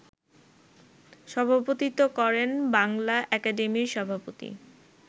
সভাপতিত্ব করেন বাংলা একাডেমির সভাপতি